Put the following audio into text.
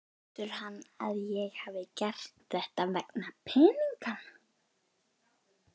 Heldur hann að ég hafi gert þetta vegna peninganna?